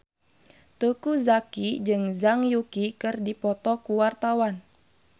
Teuku Zacky jeung Zhang Yuqi keur dipoto ku wartawan